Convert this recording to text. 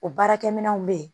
O baarakɛminɛnw bɛ yen